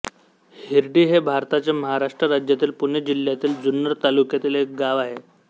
हिरडी हे भारताच्या महाराष्ट्र राज्यातील पुणे जिल्ह्यातील जुन्नर तालुक्यातील एक गाव आहे